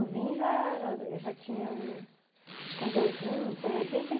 Vim já, eu já tinha uns, quando eu vim, foi em oitenta e